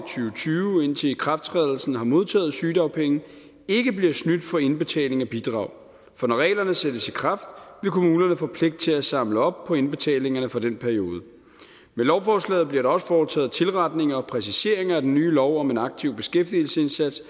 tyve indtil ikrafttrædelsen har modtaget sygedagpenge ikke bliver snydt for indbetaling af bidrag for når reglerne sættes i kraft vil kommunerne få pligt til at samle op på indbetalingerne for den periode med lovforslaget bliver der også foretaget tilretninger og præciseringer af den nye lov om en aktiv beskæftigelsesindsats